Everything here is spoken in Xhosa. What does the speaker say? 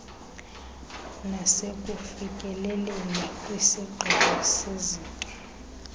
nasekufikeleleni kwisigqibo sezinto